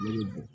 Yiri bɔn